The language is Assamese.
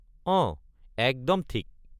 অঁ একদম ঠিক!